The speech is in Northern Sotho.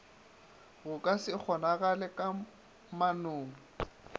go ka se kgonagale kamanong